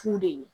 F'u de ye